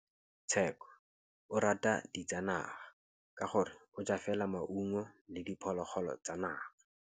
Tshekô o rata ditsanaga ka gore o ja fela maungo le diphologolo tsa naga.